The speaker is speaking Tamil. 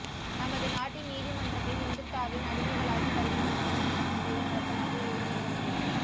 நமது நாட்டின் நீதிமன்றங்கள் இந்துத்தாவின் அடிமைகளாகி வருகின்றனவோ என்ற சந்தேகம் அழுத்தமாக எழுகிற நேரம் இது